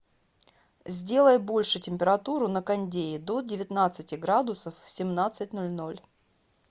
сделай больше температуру на кондее до девятнадцати градусов в семнадцать ноль ноль